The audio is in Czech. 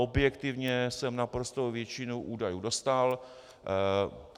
Objektivně jsem naprostou většinu údajů dostal.